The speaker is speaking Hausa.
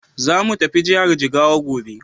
Zamu tafi jihar Jigawa gobe.